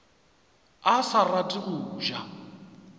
a sa rate go ja